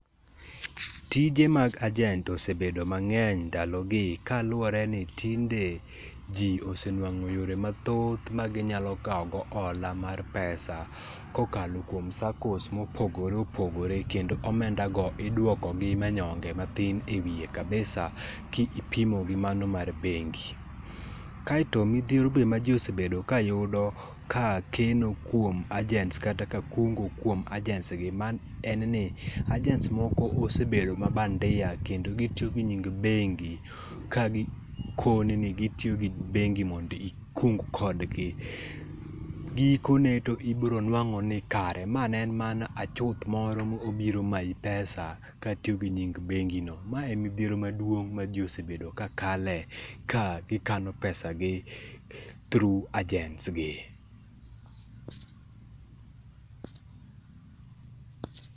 Tije mag agent osebedo mang'eny ndalogi kaluwore ni tinge ji osenewang'o yore mathoth maginyalo kawogo ola mar pesa kokalo kuom SACCOS mopogore opogore kendo omenda go iduoko gi manyonge mathin e wiye kabisa kipimo gimano mar bengi. Kaeto midhiero be ma ji osebedo ka yudo ka keno kwom agents kata ka kungo kuom agents en ni agents moko osebedo mabandia kendo gitiyo gi nying bengi ka gikoni ni gitiyo gi bengi mondo ikung kodni. Gikone to ibiro nwang'o ni kare ma ne en mana achuth moro mane obiro mayi pesa katiyo gi nying bengi no. Ma en midhiero maduong' ma ji osebedo ka kale ka gikano pesa through agents gi.